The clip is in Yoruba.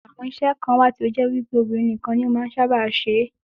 Àwọn iṣẹ́ kan wà tí ó jẹ́ wípé obìnrin nìkan ni ó sábà máa ń ṣe é.